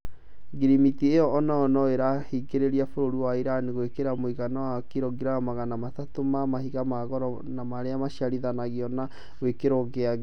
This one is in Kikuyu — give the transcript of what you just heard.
Ngirimiti ĩyo onayo nĩĩrahingĩrĩria bũrũri wa Iran gwĩkĩra mũigana wa kirongiramu magana matatũ ma mahiga ma goro na marĩa maciarithanĩtio na gĩkĩro gĩa thĩĩ